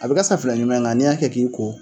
A bɛ ka safinɛ ɲuman ye mɛ nga n'i y'a kɛ k'i ko